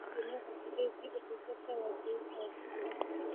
Ũndũ ũcio nĩ ũhotithĩtie ũtungata wa Jehova gũkũra.